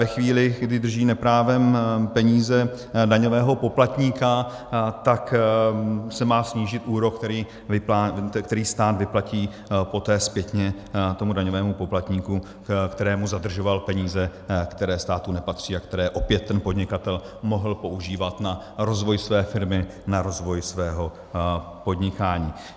Ve chvíli, kdy drží neprávem peníze daňového poplatníka, tak se má snížit úrok, který stát vyplatí poté zpětně tomu daňovému poplatníku, kterému zadržoval peníze, které státu nepatří a které opět ten podnikatel mohl používat na rozvoj své firmy, na rozvoj svého podnikání.